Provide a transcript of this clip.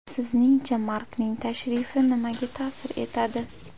Sizningcha, Markning tashrifi nimaga ta’sir etadi?